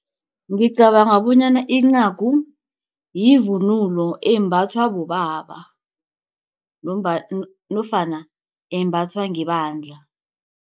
Ngicabanga bonyana incagu yivunulo embathwa bobaba nofana embathwa ngebandla.